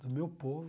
Do meu povo.